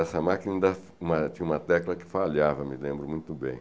Essa máquina tinha tinha uma tecla que falhava, me lembro muito bem.